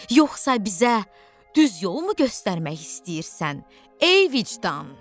Yoxsa bizə düz yolmu göstərmək istəyirsən, ey vicdan?